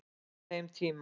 Á þeim tíma